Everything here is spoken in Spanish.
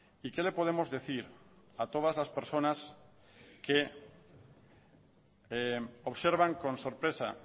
y qué le podemos decir a todas las personas que observan con sorpresa